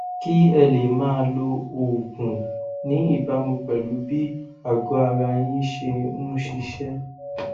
kí ẹ lè máa lo oògùn ní ìbámu pẹlú bí àgọara yín ṣe ń ṣiṣẹ